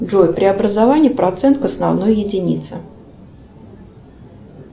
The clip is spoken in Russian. джой преобразование процент к основной единице